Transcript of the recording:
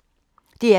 DR P1